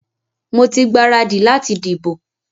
Mo ti gbaradì láti dìbò.